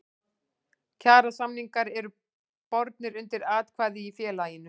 Kjarasamningar eru bornir undir atkvæði í félaginu.